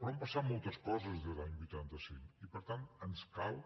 però han passat moltes coses des de l’any vuitanta cinc i per tant ens cal